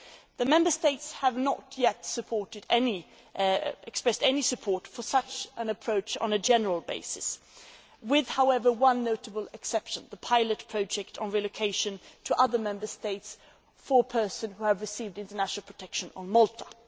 The Member States have not yet expressed any support for such an approach on a general basis with, however, one notable exception the pilot project on relocation to other Member States for persons who have received international protection on Malta.